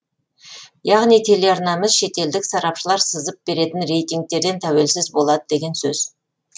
яғни телеарналарымыз шетелдік сарапшылар сызып беретін рейтингтерден тәуелсіз болады деген сөз